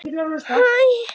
Ekki hugsun.